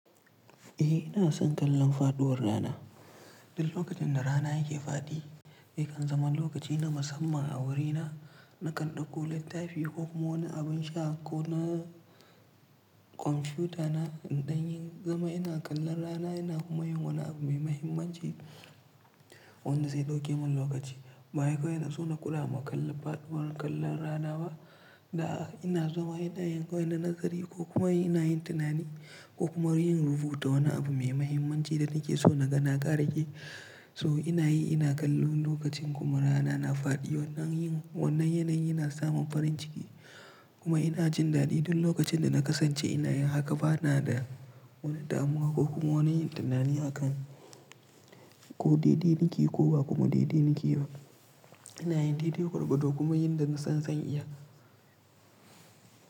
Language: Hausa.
Eh ina son kallon faɗuwar rana. Duk lokacin da rana yake faɗi yakan zama lokaci na musamman a wurina. Na kan ɗauko littafi ko kuma wani abin sha ko na kwamfutana in ɗanyi zama ina kallon rana ina kuma yin wani abu mai mahimmanci wanda zai ɗauke mun lokaci. Ba wai kawai na szo na kula ma kalla faɗuwar kallon rana ba da ina zama ina'yin kawai na nazari ko kuma ina yin tunani ko kuma yin rubutu wa wani abu mai mahimmanci da nake so na ga na ƙara yake. To ina yi ina kallon lokacin kuma rana na faɗi wannan yin wannan yanayi yana samun farin ciki kuma ina jin daɗi duk lokacin da na kasance ina yin haka bana da wani damuwa ko kuma wani yin tunani a kan ko daidai niƙe ko ba kuma daidai niƙe ba. Ina yin daidai gwargwado kuma yin da na san zan iya.